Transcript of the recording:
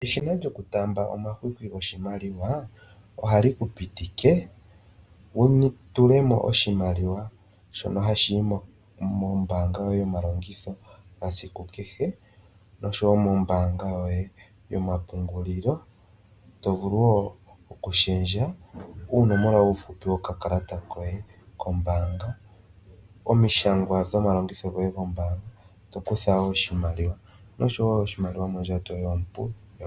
Eshina lyokutaamba omahwata goshimaliwa, ohali ku pitike wu tule mo oshimaliwa shono hashi yi mombaanga yoye yomalongitho gasiku kehe nosho wo mombaanga yoye yomapungulilo, to vulu wo okushendja oonomola dhoye dhomeholamo dhokakalata koye kombaanga, omishangwa dhomalongitho goye gombaanga, to kutha wo oshimaliwa komayalulo goye gombaanga.